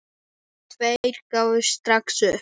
Tveir gáfust strax upp.